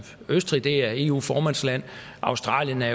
østrig er eu formandsland australien er